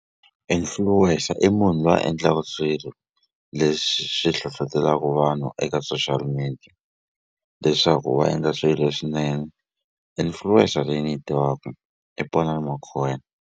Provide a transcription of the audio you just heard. Influencer i munhu lowu a endlaka swilo leswi swi hlohlotelaku vanhu eka social media leswaku va endla swi swinene influencer leyi ni yi tivaku i Ponani Makhubele.